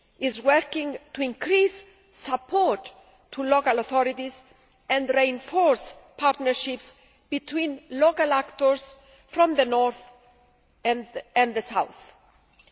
is working to increase support to local authorities and reinforce partnerships between local actors from the North and the South.